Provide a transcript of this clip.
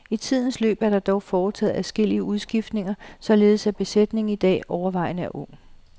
I tidens løb er der dog foretaget adskillige udskiftninger, således at besætningen i dag er overvejende ung.